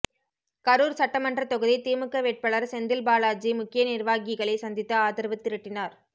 கரூர் சட்டமன்ற தொகுதி திமுக வேட்பாளர் செந்தில்பாலாஜி முக்கிய நிர்வாகிகளை சந்தித்து ஆதரவு திரட்டினார்